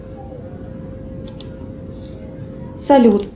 салют